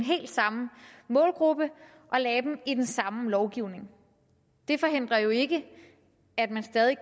samme målgruppe og lagde dem i den samme lovgivning det forhindrer jo ikke at der stadig